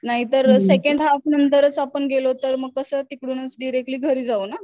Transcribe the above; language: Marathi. नाहीतर सेकंड हाल्फ नंतरच आपण गेलो तर मग कस तिकडूनच डिरेक्टली घरी जाऊ ना.